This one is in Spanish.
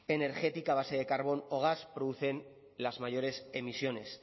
energética a base de carbón o gas producen las mayores emisiones